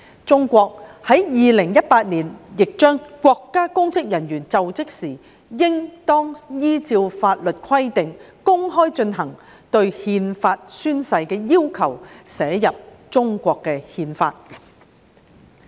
中國在2018年亦將國家公職人員就職時應當依照法律規定公開進行憲法宣誓的要求，寫入中國憲法。